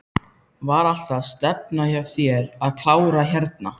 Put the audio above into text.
Var alltaf stefnan hjá þér að klára hérna?